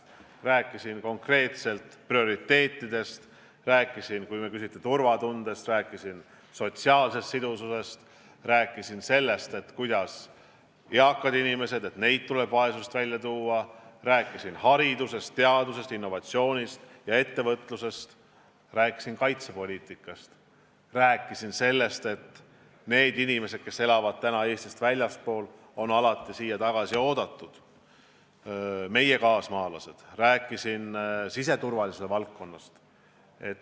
Ma rääkisin konkreetselt prioriteetidest, rääkisin – see puudutab turvatunnet – sotsiaalsest sidususest, rääkisin sellest, et eakad inimesed tuleb vaesusest välja tuua, rääkisin haridusest, teadusest, innovatsioonist ja ettevõtlusest, rääkisin kaitsepoliitikast, rääkisin sellest, et need meie kaasmaalased, kes elavad praegu Eestist väljaspool, on alati siia tagasi oodatud, rääkisin siseturvalisuse valdkonnast.